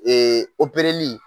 opereli